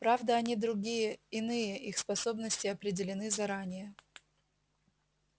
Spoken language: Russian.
правда они другие иные их способности определены заранее